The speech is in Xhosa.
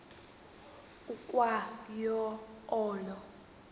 ukwa yo olo